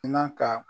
N'a ka